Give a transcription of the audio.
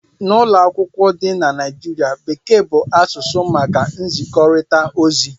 N'ụlọ akwụkwọ dị na Nigeria, Bekee bụ asụsụ maka nzikọrịta ozi